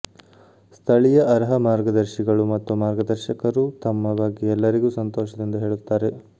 ಸ್ಥಳೀಯ ಅರ್ಹ ಮಾರ್ಗದರ್ಶಿಗಳು ಮತ್ತು ಮಾರ್ಗದರ್ಶಕರು ತಮ್ಮ ಬಗ್ಗೆ ಎಲ್ಲರಿಗೂ ಸಂತೋಷದಿಂದ ಹೇಳುತ್ತಾರೆ